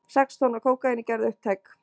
Sex tonn af kókaíni gerð upptæk